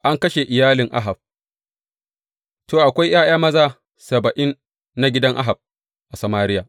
An kashe iyalin Ahab To, akwai ’ya’ya maza saba’in na gidan Ahab a Samariya.